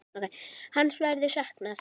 Hans verður saknað.